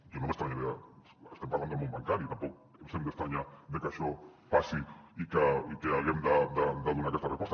jo no m’estranyaria estem parlant del món bancari tampoc ens hem d’estranyar de que això passi i que haguem de donar aquesta resposta